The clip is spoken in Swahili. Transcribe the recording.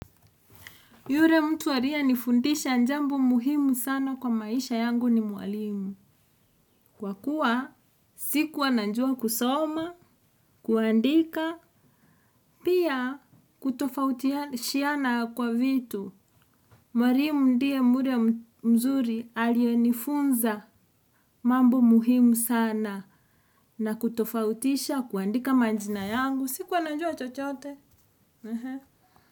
Yure mtu ariyenifundisha njambo muhimu sana kwa maisha yangu ni mwalimu. Kwa kuwa sikua nanjua kusoma, kuandika, pia kutofautia shiana kwa vitu. Mwalimu ndiye mure mzuri alionifunza mambo muhimu sana na kutofautisha kuandika manjina yangu. Sikua najua chochote.